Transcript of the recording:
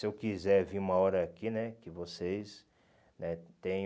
Se eu quiser vir uma hora aqui né, que vocês né tenham...